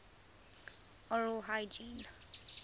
oral hygiene